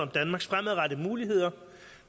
danmarks fremadrettede muligheder